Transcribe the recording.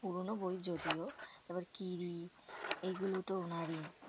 পুরোনো বই যদিও। তারপর কিরি এগুলো তো ওনারই।